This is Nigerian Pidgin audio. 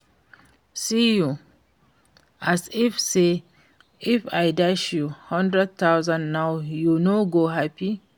See you, as if say if I dash you hundred thousand now you no go happy